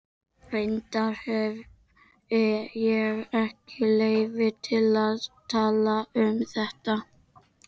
Reyndar hefi ég ekki leyfi til að tala um þetta.